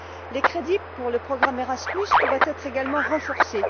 Les crédits pour le programme Erasmus pourraient également être renforcés.